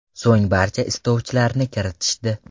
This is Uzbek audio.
So‘ng barcha istovchilarni kiritishdi.